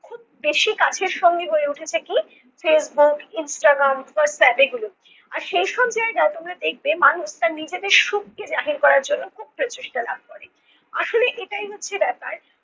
বেশি কাছের সঙ্গী হয়ে উঠেছে কি? facebook instagram whatsapp এগুলো। আর সেই সব জায়গায় মানুষ তার নিজেদের সুখকে জাহির করার জন্য খুব প্রচেষ্টা লাভ করে। আসলে এটাই হচ্ছে ব্যাপার।